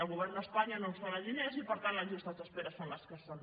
el govern d’espanya no ens dóna diners i per tant les llistes d’espera són les que són